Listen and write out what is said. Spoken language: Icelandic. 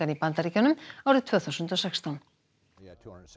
í Bandaríkjunum árið tvö þúsund og sextán